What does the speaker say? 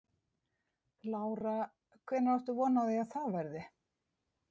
Lára: Hvenær átt von á því að það verði?